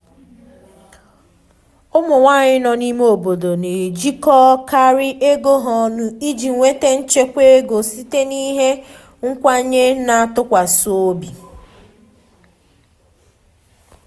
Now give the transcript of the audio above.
ụmụ nwanyị nọ n’ime obodo na-ejikọkarị ego ha ọnụ iji nweta nchekwa ego site n’ihe nkwenye na ntụkwasị obi.